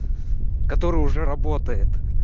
который уже работает